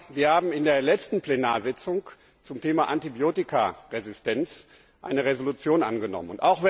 Wir haben in der letzten Plenarsitzung zum Thema Antibiotikaresistenz eine Entschließung angenommen.